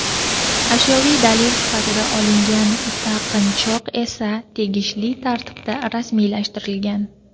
Ashyoviy dalil sifatida olingan taqinchoq esa tegishli tartibda rasmiylashtirilgan.